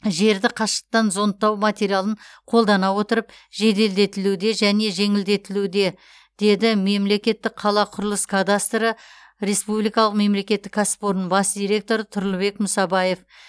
жерді қашықтықтан зондтау материалын қолдана отырып жеделдетілуде және жеңілдетілуде деді мемлекеттікқалақұрылыс кадастры республикалық мемлекеттік кәсіпорынның бас директоры тұрлыбек мұсабаев